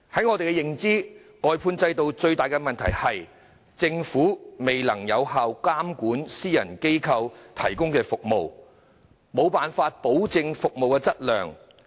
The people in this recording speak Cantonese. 我們認為，外判制度最大的問題是政府未能有效監管私人機構提供的服務，無法保證服務質量。